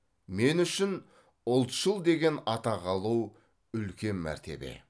мен үшін ұлтшыл деген атақ алу үлкен мәртебе